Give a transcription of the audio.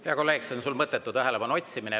Hea kolleeg, see on sul mõttetu tähelepanu otsimine.